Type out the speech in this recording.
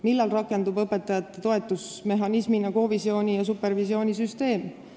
Millal rakendub õpetajate toetusmehhanismina kovisiooni ja supervisiooni süsteem?